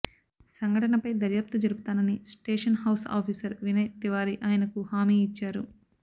సంఘటనపై దర్యాప్తు జరుపుతానని station house officer Vinay Tiwari ఆయనకు హామీ ఇచ్చారు